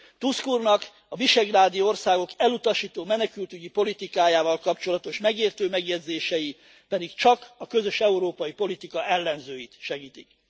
Tusk úrnak a visegrádi országok elutasító menekültügyi politikájával kapcsolatos megértő megjegyzései pedig csak a közös európai politikai ellenzőit segítik.